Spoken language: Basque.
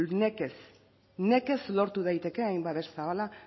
nekez nekez lor dezake hain babes zabala